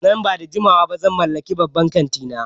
Nan ba da jimawa ba zan mallaki babban kanti na